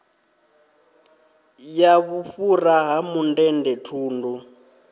ya vhufhura ha mundende thundu